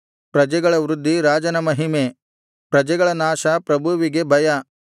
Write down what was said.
ಪ್ರಜೆಗಳ ವೃದ್ಧಿ ರಾಜನ ಮಹಿಮೆ ಪ್ರಜೆಗಳ ನಾಶ ಪ್ರಭುವಿಗೆ ಭಯ